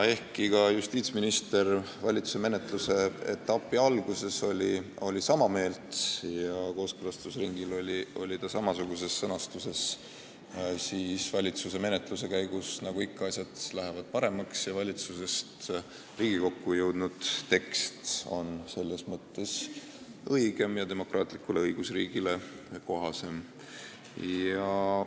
Ehkki ka justiitsminister oli valitsuses menetluse alguses sama meelt ja kooskõlastusringil oli eelnõus samasugune sõnastus, siis nagu ikka, lähevad asjad valitsuse menetluse käigus paremaks – valitsusest Riigikokku jõudnud tekst on õigem ja demokraatlikule õigusriigile kohasem.